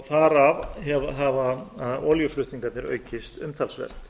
þar af hafa olíuflutningarnir aukist umtalsvert